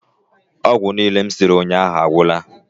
Ogwu niile m siri unyahu agwula